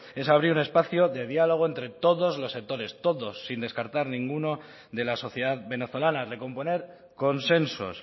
es abrir un espacio de diálogo entre todos los sectores todos sin descartar ninguno de la sociedad venezolana recomponer consensos